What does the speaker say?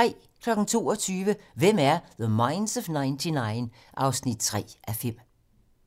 22:00: Hvem er The Minds of 99? 3:5